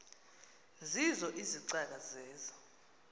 zeezo izicaka zeza